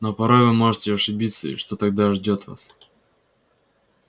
но порой вы можете ошибиться и что тогда ждёт вас